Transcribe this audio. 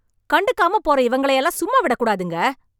கண்டுக்காம போற இவங்கள எல்லாம் சும்மா விடக்கூடாதுங்க..